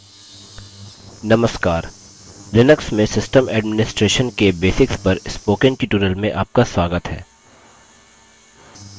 नमस्कार लिनक्स में system administration के basics पर spoken tutorial में आपका स्वागत है